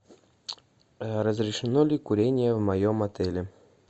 разрешено ли курение в моем отеле